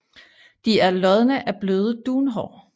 De er lodne af bløde dunhår